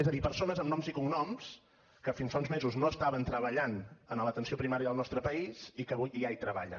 és a dir persones amb noms i cognoms que fins fa uns mesos no estaven treballant en l’atenció primària del nostre país i que avui ja hi treballen